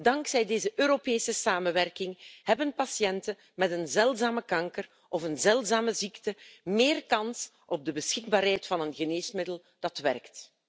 Dankzij deze Europese samenwerking hebben patiënten met een zeldzame kanker of een zeldzame ziekte meer kans op de beschikbaarheid van een geneesmiddel dat werkt.